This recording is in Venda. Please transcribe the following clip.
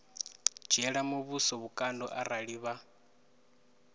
dzhiela muvhuso vhukando arali vha